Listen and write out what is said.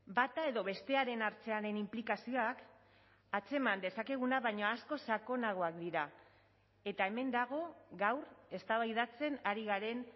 bata edo bestearen hartzearen inplikazioak atzeman dezakeguna baino askoz sakonagoak dira eta hemen dago gaur eztabaidatzen ari garen